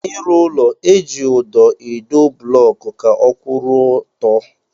N'ịrụ ụlọ, eji ụdọ edo blọọkụ ka ọ kwụrụ ọtọ